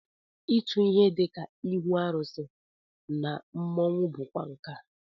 Ịtụ ihe dịka ihu arụsị na mmọnwụ bụkwa nkà